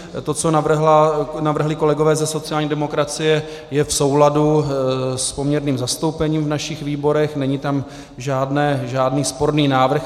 To, co navrhli kolegové ze sociální demokracie, je v souladu s poměrným zastoupením v našich výborech, není tam žádný sporný návrh.